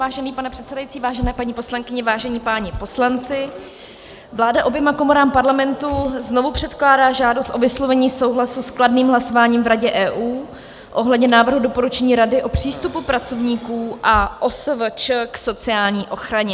Vážený pane předsedající, vážené paní poslankyně, vážení páni poslanci, vláda oběma komorám Parlamentu znovu předkládá žádost o vyslovení souhlasu s kladným hlasováním v Radě EU ohledně návrhu doporučení Rady o přístupu pracovníků a OSVČ k sociální ochraně.